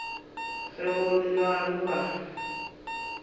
ge go le bjalo ba